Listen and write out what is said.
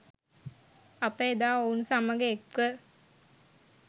අප එදා ඔවුන් සමග එක්ව